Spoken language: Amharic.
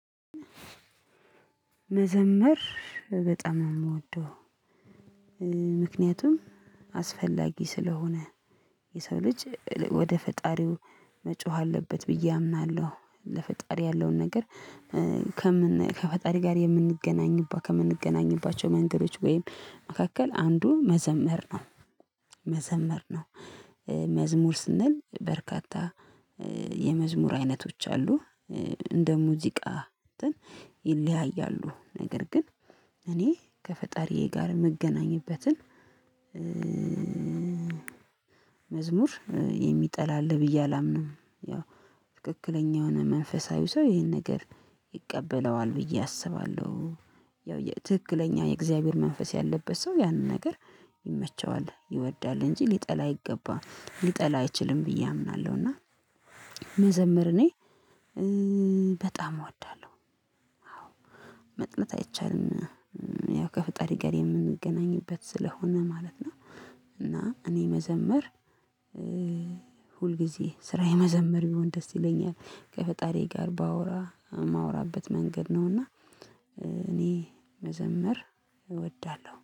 መዘመር በጣም የምወደው ምክንያቱም አስፈላጊ ስለሆነ የሰው ልጅ ወደ ፈጣሪው መጮህ አለበት ብዬ አምናለሁ ለፈጣሪ ያለውን ነገር ከፈጣሪ ጋር የምንገናኝባቸው መንገዶች ወይም መካከል አንዱ መዘመር ነው። መዘመር ነው መዝሙር ስንል በርካታ የመዝሙር አይነቶች አሉ እንደ ሙዚቃ ይለያያሉ ነገር ግን እኔ ከፈጣሪዬ ጋር የምገናኝበትን መዝሙር የሚጠላ አለ ብዬ አላምንም። ያው ትክክለኛ የሆነ መንፈሳዊ ሰው ይሄን ነገር ይቀበለዋል ብዬ አስባለሁ። ያው የትክክለኛ የእግዚአብሔር መንፈስ ያለበት ሰው ያንን ነገር ይመቸዋል ይወዳል እንጂ ሊጠላ አይገባም ሊጠላ አይችልም ብዬ አምናለሁ። እና መዘምር እኔ በጣም እወዳለሁ። መጥለት አይቻልም። ያው ከፈጣሪ ጋር የምንገናኝበት ስለሆነ ማለት ነው። እና እኔ መዘመር ሁልጊዜ ስራዬ መዘመር ቢሆን ደስ ይለኛል ከፈጣሪዬ ጋር ባወራ የማወራበት መንገድ ነው እና። እኔ መዘምር እወዳለሁ